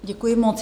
Děkuji moc.